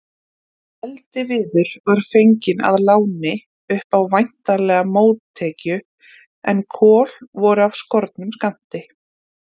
Eldiviður var fenginn að láni, upp á væntanlega mótekju, en kol voru af skornum skammti.